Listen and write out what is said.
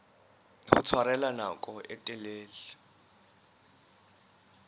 ho tshwarella nako e telele